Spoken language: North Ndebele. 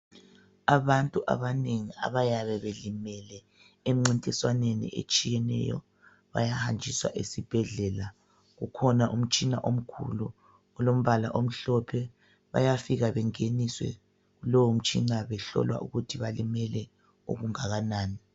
Abantu abanengi abayabe belimele emncintiswaneni etshiyeneyo bayahanjiswa esibhedlela. Ukhona umtshina omkhulu ulombala omhlophe. Bayafika bengeniswe kulowomtshina behlolwa ukuthi balimele okungakanani.